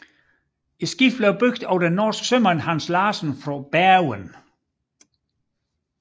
Skibet blev bygget af den norske sømand Hans Larsen fra Bergen